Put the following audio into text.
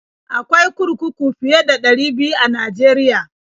Akwai kurkuku fiye da ɗari biyu a Najeriya.